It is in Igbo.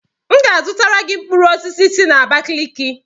M ga-azụtara gị mkpụrụ osisi si n'Abakeleke.